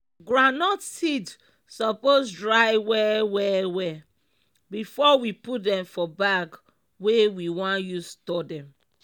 groundnut seed supose dry well well well before we put dem for bag wey we want use store dem.